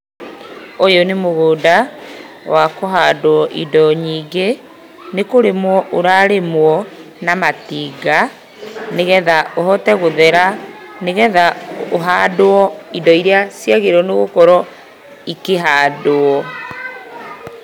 Ũyũ nĩmũgũnda wakũndwo indo nyingĩ. Nĩkũrĩmwo ũrarĩmwo na matinga nĩgetha ũhote gũthera, nĩgetha ũhandwo indo iria cibatiĩ gũkorwo ikĩhandwo.